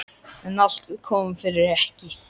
En allt kom fyrir ekki!